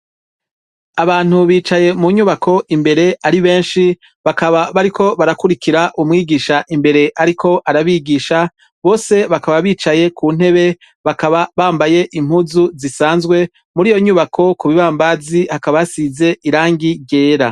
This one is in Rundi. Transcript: Abantu bicaye mu nyubako imbere ari benshi bakaba bariko barakurikira umwigisha imbere ariko arabigisha, bose bakaba bicaye ku ntebe bakaba bambaye impuzu zisanzwe. Muri iyo nyubako ku bibambazi hakaba hasize irangi ryera.